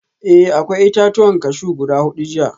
Eh akwai itatuwan cashew guda hudu jiya